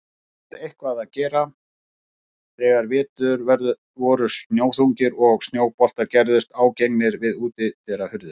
Oftast eitthvað að gera þegar vetur voru snjóþungir og snjóboltar gerðust ágengir við útidyrahurðir.